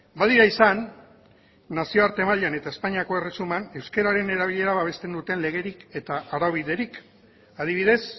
badira izan nazioarte mailan eta espainiako erresuman euskararen erabilera babesten duten legerik eta araubiderik adibidez